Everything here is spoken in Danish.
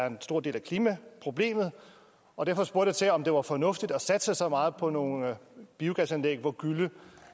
en stor del af klimaproblemet og derfor spurgte jeg til om det var fornuftigt at satse så meget på nogle biogasanlæg hvor gylle